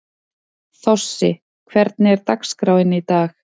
Þossi, hvernig er dagskráin í dag?